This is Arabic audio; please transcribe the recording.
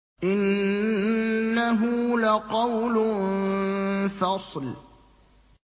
إِنَّهُ لَقَوْلٌ فَصْلٌ